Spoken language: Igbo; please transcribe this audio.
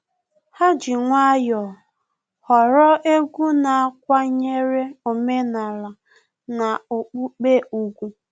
Ha ji nwayọọ họrọ egwu na-akwanyere omenala na okpukpe ùgwù